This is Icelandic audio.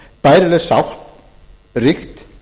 bærileg sátt ríkt